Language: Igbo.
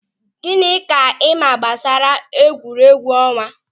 Gịnị ka ịma gbasara egwuregwu ọnwa?